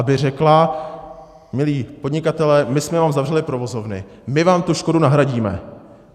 Aby řekla: milí podnikatelé, my jsme vám zavřeli provozovny, my vám tu škodu nahradíme.